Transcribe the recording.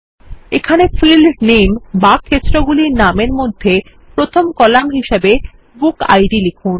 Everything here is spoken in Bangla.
এখানে ফীল্ড নেম বা ক্ষেত্রগুলির নামের মধ্যে প্রথম কলাম হিসাবে বুকিড লিখুন